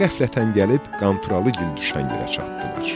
Qəflətən gəlib Qanturalıgil düşən yerə çatdılar.